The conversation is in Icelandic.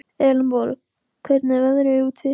Elenborg, hvernig er veðrið úti?